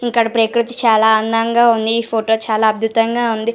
ఇక్కడ ప్రక్రుతి చాల అందంగా వున్నది ఫోటో చాల అద్భుతంగా ఉంది.